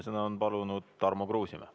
Esimesena on palunud sõna Tarmo Kruusimäe.